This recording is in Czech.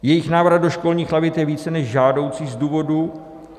Jejich návrat do školních lavic je více než žádoucí z důvodů...